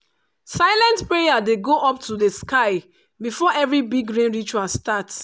silent prayer dey go up to sky before every big rain ritual start.